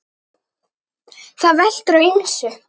Það veltur á ýmsu.